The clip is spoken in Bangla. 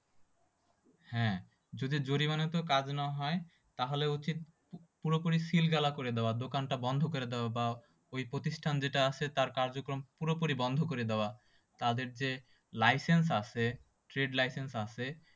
যদি জরিমানাতেও কাজ না হয়, তাহলে উচিত পুরোপুরি seal তালা করে দেওয়া। দোকানটা বন্ধ করে দেওয়া বা ঐ প্রতিষ্ঠান যেটা আছে তার কার্যক্রম পুরোপুরি বন্ধ করে দেওয়া। তাদের যে, licence আছে trade licence আছে